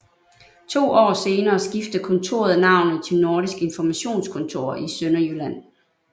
To år senere skiftede kontoret navnet til Nordisk Informationskontor i Sønderjylland